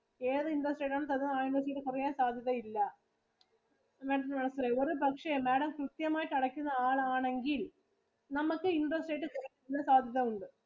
ഏതു investment ആയാലും interest rate കുറയാൻ സാധ്യത ഇല്ല. ഒരു പക്ഷെ Madam കൃത്യമായിട്ട് അടയ്ക്കുന്ന ആളാണെങ്കിൽ നമുക്ക് interest rate കുറക്കാൻ സാധ്യത ഉണ്ട്